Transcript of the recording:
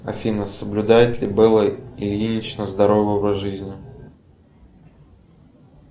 афина соблюдает ли белла ильинична здоровый образ жизни